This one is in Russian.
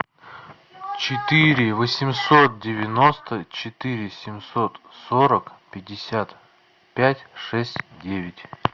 четыре восемьсот девяносто четыре семьсот сорок пятьдесят пять шесть девять